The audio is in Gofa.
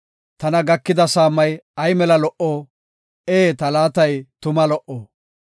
Tana gakida saamay ay mela lo77o! Ee ta laatay tuma lo77o!